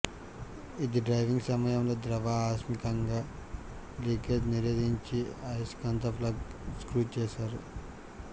ఇది డ్రైవింగ్ సమయంలో ద్రవ ఆకస్మికంగా లీకేజ్ నిరోధించే అయస్కాంత ప్లగ్ స్క్రూ చేశావు